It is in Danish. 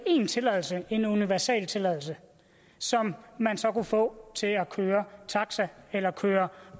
én tilladelse en universaltilladelse som man så kunne få til at køre taxa eller køre